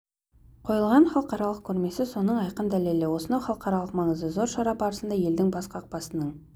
қойылған халықаралық көрмесі соның айқын дәлелі осынау халықаралық маңызы зор шара барысында елдің бас қақпасының